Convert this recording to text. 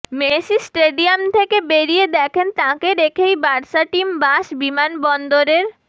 Messi stadium থেকে বেরিয়ে দেখেন তাঁকে রেখেই বার্সা টিম বাস বিমানবন্দরের